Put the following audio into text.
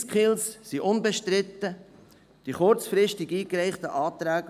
Die SwissSkills sind unbestritten, die kurzfristig eingereichten Anträge